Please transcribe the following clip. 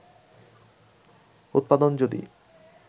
উৎপাদন যদি